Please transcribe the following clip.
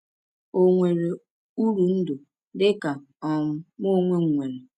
Ò nwere uru ndụ dị ka um mụ onwe m nwere?